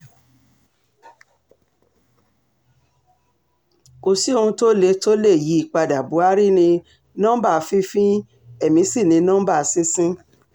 kò sí ohun tó lè tó lè yí i padà buhari ní nọmba fífín èmi sí ní nọmba sísìn